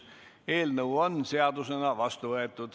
Eelnõu on seadusena vastu võetud.